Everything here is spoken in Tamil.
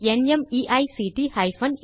தமிழாக்கம் பிரியா